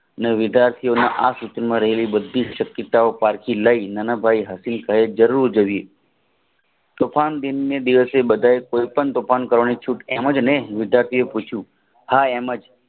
ને વિદ્યાર્થીએ આ સદ્ગુહના રહેલી બધી જ પિતાઓ પરથી લાય નાનાભાઈ હાથ પાસે જરૂર જવી વિદ્યાર્થીએ પૂછ્યું હા એમ જ